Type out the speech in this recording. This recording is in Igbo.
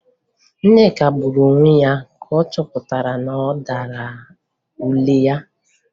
Nneka gburu onwe ya ka ọ chọpụtara na ọ dara ule ya